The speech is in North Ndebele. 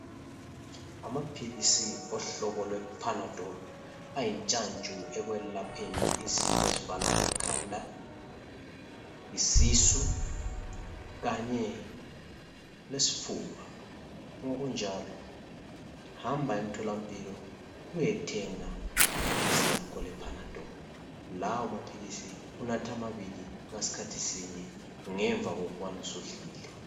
Amaphilisi ohlobo lwePanadol ayintshantshu ekwelapheni izifo ezifana lekhanda, isisu kanye lesifuba ngokunjalo hamba emtholampilo uyethenga iphilisi lakho lePanadol. Lawo maphilisi unatha amabili ngasikhathi sinye ngemva kokubana usudlile.